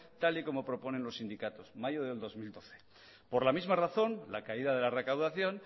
tal y como proponen los sindicatos mayo del dos mil doce por la misma razón la caída de la recaudación